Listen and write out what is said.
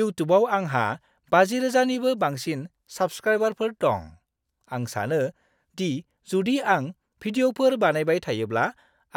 इउटुबाव आंहा 50,000 निबो बांसिन साबस्क्राइबारफोर दं। आं सानो दि जुदि आं भिडिअ'फोर बानायबाय थायोब्ला,